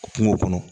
Kungo kɔnɔ